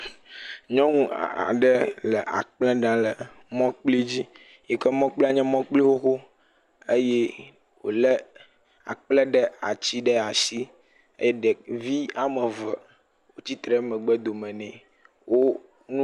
Nyɔnu aɖe le akple ɖa le mɔkpli dzi yi ke mɔkplia nye mɔkpli xoxo, eye wolé akple ɖ.. atsi ɖe ashi e ɖevi ame eve wotsi tre ɖe megbedome nɛ.